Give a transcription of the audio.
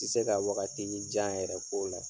Ti se ka wagatinin jan yɛrɛ k'o la.